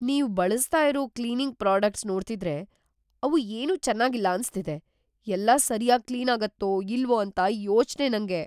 ನೀವ್‌ ಬಳಸ್ತಾ ಇರೋ ಕ್ಲೀನಿಂಗ್‌ ಪ್ರಾಡಕ್ಟ್ಸ್‌ ನೋಡ್ತಿದ್ರೆ ಅವು ಏನೂ ಚೆನಾಗಿಲ್ಲ ಅನ್ಸ್ತಿದೆ, ಎಲ್ಲ ಸರ್ಯಾಗ್‌ ಕ್ಲೀನಾಗತ್ತೋ ಇಲ್ವೋ ಅಂತ ಯೋಚ್ನೆ ನಂಗೆ.